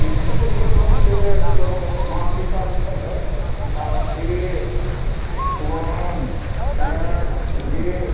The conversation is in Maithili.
इ चित्र से कोनो मां सीता लिखल है अ ए वन एन जे --